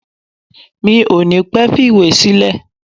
Mi ò ní pẹ́ fi ìwé sílẹ̀